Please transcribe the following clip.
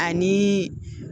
Ani